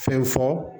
Fɛn fɔ